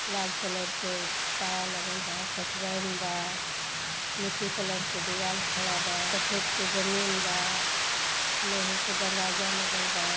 लाल colour के पाया लगल बा कटरैन बा। मिट्टी कलर के दीवाल खड़ा बा । सफेद के जमीन बा लोहे के दरवाजा लगल बा।